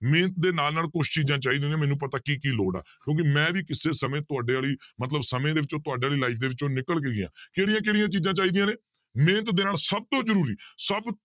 ਮਿਹਨਤ ਦੇ ਨਾਲ ਨਾਲ ਕੁਛ ਚੀਜ਼ਾਂ ਚਾਹੀਦੀਆਂ ਹੁੰਦੀਆਂ ਮੈਨੂੰ ਪਤਾ ਕੀ ਕੀ ਲੋੜ ਕਿਉਂਕਿ ਮੈਂ ਵੀ ਕਿਸੇ ਸਮੇਂ ਤੁਹਾਡੇ ਵਾਲੀ ਮਤਲਬ ਸਮੇਂ ਦੇ ਵਿੱਚੋਂ ਤੁਹਾਡੀ ਵਾਲੀ life ਦੇ ਵਿੱਚੋਂ ਨਿਕਲ ਕੇ ਗਿਆਂ ਕਿਹੜੀਆਂ ਕਿਹੜੀਆਂ ਚੀਜ਼ਾਂ ਚਾਹੀਦੀਆਂ ਨੇ ਮਿਹਨਤ ਦੇ ਨਾਲ ਸਭ ਤੋਂ ਜ਼ਰੂਰੀ ਸਭ